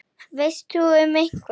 Veist þú um einhvern?